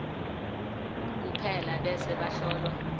kuphela bese bahlolwa